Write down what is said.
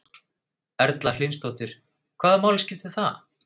Erla Hlynsdóttir: Hvaða máli skiptir það?